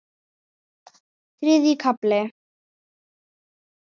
Þriðji kafli